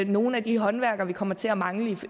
nogle af de håndværkere vi kommer til at mangle